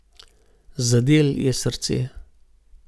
Zadel je srce.